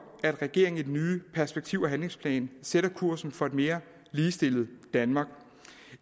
at regeringen i den nye perspektiv og handlingsplan sætter kursen for et mere ligestillet danmark og